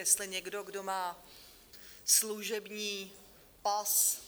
Jestli někdo, kdo má služební pas